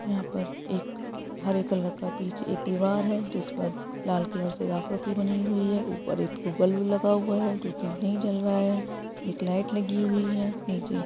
यहां पर एक हरे कलर का पीछे एक दीवार है जिस पर लाल कलर से आकृति बनी हुई है ऊपर एक बल्ब लगा हुआ है जो की नहीं जल रहा है एक लाइट लगी हुई है नीचे--